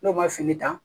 N'o b'a fini ta